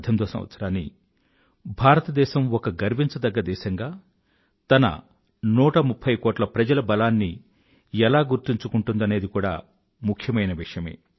2018వ సంవత్సరాన్ని భారతదేశం ఒక గర్వించదగ్గ దేశంగా తన 130కోట్ల ప్రజల బలాన్ని ఎలా గుర్తుంచుకుంటుందనేది కూడా ముఖ్యమైన విషయమే